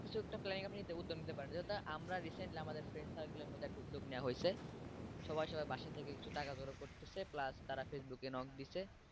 কিছু একটা planning আপনি উদ্যোগ নিতে পারেন যেহেতু আমরা recently আমাদের friend circle এর মধ্যে একটা উদ্যোগ নেয়া হয়েছে সবাই সবার বাসা থেকে টাকা জড়ো করতেছে plus তারা facebook এ knock দিছে।